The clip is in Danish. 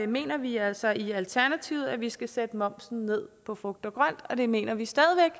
mener vi altså i alternativet at vi skal sætte momsen ned på frugt og grønt og det mener vi stadig